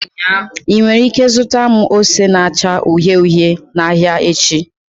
Ị nwere ike zụta m ose na-acha uhie uhie n'ahịa echi?